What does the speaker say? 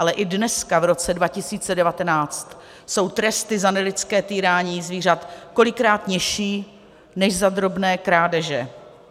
Ale i dneska, v roce 2019, jsou tresty za nelidské týrání zvířat kolikrát nižší než za drobné krádeže.